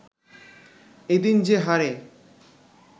এ দিন যে হারে